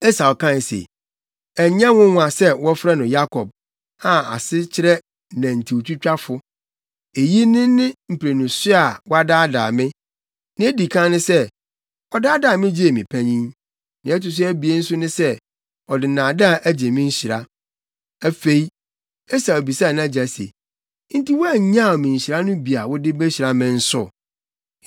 Esau kae se, “Ɛnyɛ nwonwa sɛ wɔfrɛ no Yakob + 27.36 Din Yakob nkyerɛase reyɛ akɔyɛ omimfo anaa osisifo. a ase kyerɛ nantintwitwafo. Eyi ne ne mprenu so a wadaadaa me. Nea edi kan ne sɛ, ɔdaadaa me gyee me panyin. Nea ɛto so abien nso ne sɛ, ɔde nnaadaa agye me nhyira!” Afei, Esau bisaa nʼagya se, “Enti woannyaw me nhyira no bi a wode behyira me nso?”